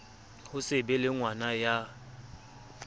ho se be lengwana ya